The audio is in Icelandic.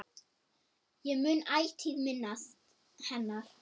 Ég mun ætíð minnast hennar.